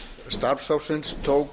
starfshópsins tók